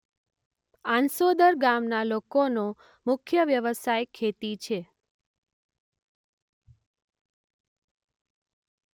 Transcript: આંસોદર ગામના લોકોનો મુખ્ય વ્યવસાય ખેતી છે.